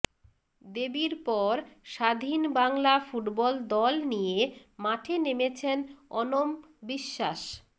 দেবীর পর স্বাধীন বাংলা ফুটবল দল নিয়ে মাঠে নেমেছেন অনম বিশ্বাস